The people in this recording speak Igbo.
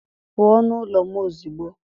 pụọ nụ ụlọ m ozugbo!